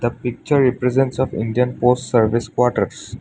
a picture represents of indian post service quarters.